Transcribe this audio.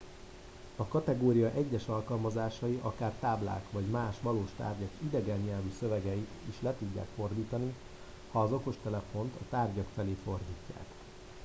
a kategória egyes alkalmazásai akár táblák vagy más valós tárgyak idegen nyelvű szövegeit is le tudják fordítani ha az okostelefont a tárgy felé fordítják